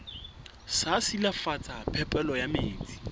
sa silafatsa phepelo ya metsi